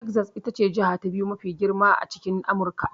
Texas ita ce jiha ta biyu mafi girma a cikin Amurka.